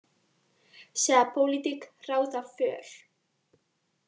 Segja pólitík ráða för